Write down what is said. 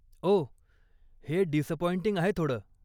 ओह, हे डिसअपॉइंटिंग आहे थोडं.